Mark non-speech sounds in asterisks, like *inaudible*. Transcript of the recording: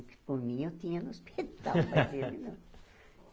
Porque por mim, eu tinha no *laughs* hospital. *laughs* Mas ele não